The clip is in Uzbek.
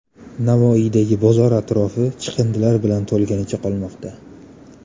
Navoiydagi bozor atrofi chiqindilar bilan to‘lganicha qolmoqda .